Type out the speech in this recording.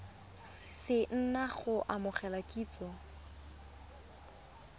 se na go amogela kitsiso